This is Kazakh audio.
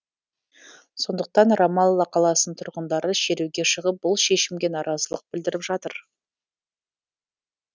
сондықтан рамалла қаласының тұрғындары шеруге шығып бұл шешімге наразылық білдіріп жатыр